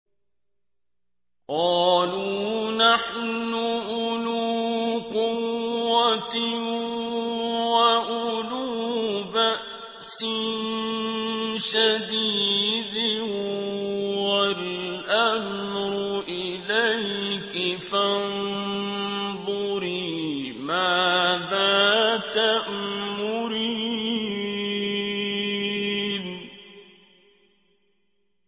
قَالُوا نَحْنُ أُولُو قُوَّةٍ وَأُولُو بَأْسٍ شَدِيدٍ وَالْأَمْرُ إِلَيْكِ فَانظُرِي مَاذَا تَأْمُرِينَ